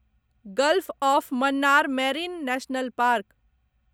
gulf of Mannar marine national park